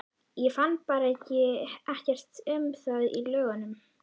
Ég fann bara ekkert um það í lögunum.